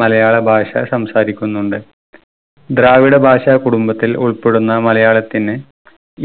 മലയാള ഭാഷ സംസാരിക്കുന്നുണ്ട്. ദ്രാവിഡ ഭാഷ കുടുംബത്തിൽ ഉൾപ്പെടുന്ന മലയാളത്തിന്